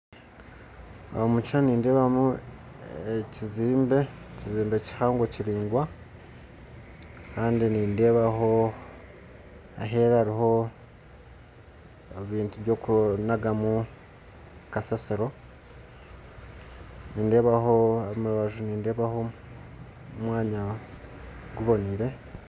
Omukishishani nindeebamu ekizimbe , ekizimbe kihango kiraingwa kandi nindeebaho aheru hariho ebintu byokunagamu kasasiro, omurubaju nindeebaho omwanya gubonaire.